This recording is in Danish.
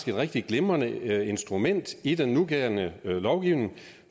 et rigtig glimrende instrument i den nuværende lovgivning